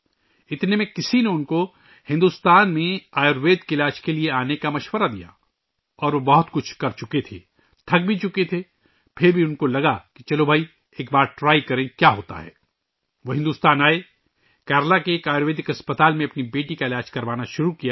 اس میں کسی نے انہیں آیوروید کے علاج کے لئے بھارت آنے کا مشورہ دیا اور وہ بہت کچھ کر چکے تھے، تھک بھی چکے تھے، پھر بھی سوچا کہ چلو ایک بار آزمائیں، کیا ہوتا ہے؟ وہ بھارت آئے ، کیرالہ کے ایک آیورویدک اسپتال میں اپنی بیٹی کا علاج کرانا شروع کیا